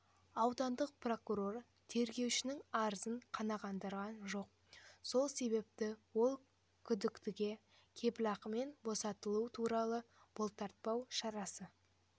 аудандық прокурор тергеушінің арызын қанағандырған жоқ сол себепті ол күдіктіге кепілақымен босатылу туралы бұлтартпау шарасы